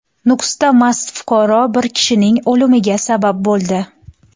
Nukusda mast fuqaro bir kishining o‘limiga sabab bo‘ldi.